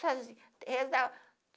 Sozinha, rezava.